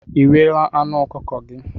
Ị riela anụ ọkụkọ gị?